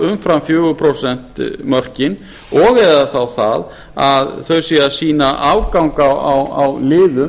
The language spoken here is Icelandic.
umfram fjögur prósent mörkin og eða þá það að þau séu að sýna afgang á liðum